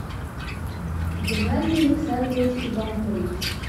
геннадий александрович иванкович